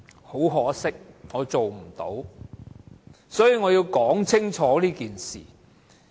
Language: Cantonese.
很可惜，我做不到，所以我要說清楚這件事。